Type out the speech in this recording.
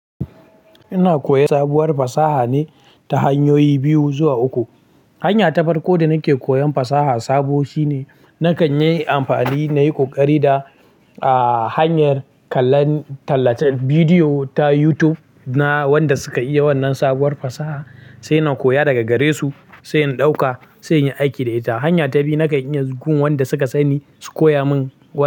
Ina koyan sabuwar fasaha ne, ta hanyoyi biyu zuwa uku. Hanya ta farko da nake koyan fasaha sabo shine, nakan yi amfani nayi kokari da, hanyar kallon, tallace bidiyo ta YouTube, na wanda suka iya wannan sabuwar fasaha, sai na koya daga gare su, sai in ɗauka, sai in yi aiki da ita. Hanya ta biyu nakan yi gun wanda suka sani, su koya min wannan.